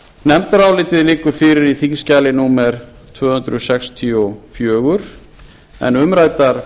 nefndarálitið liggur fyrir í þingskjali númer tvö hundruð sextíu og fjögur en umræddar